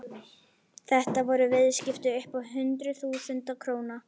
Þetta voru viðskipti upp á hundruð þúsunda króna.